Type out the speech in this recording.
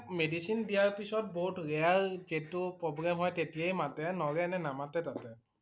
Medicine দিয়াৰ পিছত বহুত rare যিটো problem হয় তেতিয়াই মাতে নহলে এনে নামতে তাতে ।